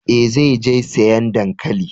Eh, zai je sayan dankalin.